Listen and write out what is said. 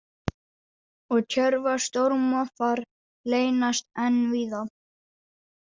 Og Tjörvar stórmoffar leynast enn víða.